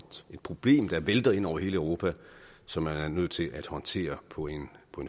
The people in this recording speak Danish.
problem der vælter ind over hele europa som man er nødt til at håndtere på en